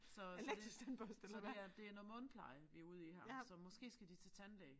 Så så det så det her det er noget mundpleje vi ude i her så måske skal de til tandlæge